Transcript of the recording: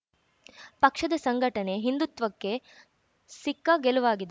ಪಕ್ಷದ ಸಂಘಟನೆ ಹಿಂದುತ್ವಕ್ಕೆ ಸಿಕ್ಕ ಗೆಲುವಾಗಿದೆ